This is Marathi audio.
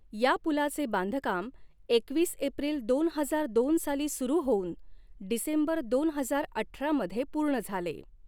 या पुलाचे बांधकाम एकवीस एप्रिल दोन हजार दोन साली सुरु होऊन डिसेंबर दोन हजार अठरा मध्ये पूर्ण झाले.